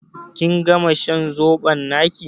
Kin gama shan zobo naƙi?